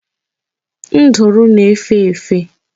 Nduru na-efe efe.